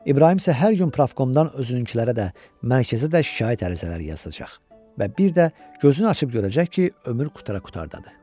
İbrahim isə hər gün profkomdan özününkilərə də, mərkəzə də şikayət ərizələri yazacaq və bir də gözünü açıb görəcək ki, ömür qurtara-qurtardadır.